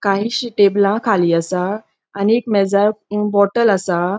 कायीशी टेबला खाली असा आणि एक मेजार बॉटल असा.